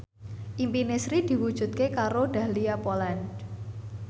impine Sri diwujudke karo Dahlia Poland